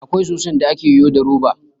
Akwai soson da ake yo da roba